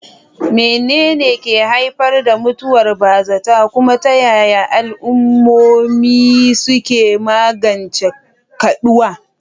Menene ke haifar da mutuwar bazata, kuma ta yaya al'ummomi suke magance kaduwa?